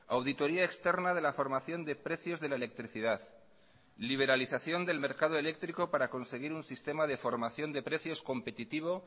auditoría externa de la formación de precios de la electricidad liberalización del mercado eléctrico para conseguir un sistema de formación de precios competitivo